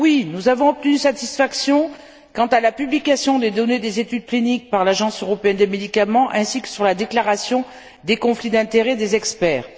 Nous avons bien obtenu satisfaction quant à la publication des données des études cliniques par l'Agence européenne des médicaments ainsi que sur la déclaration des conflits d'intérêts des experts.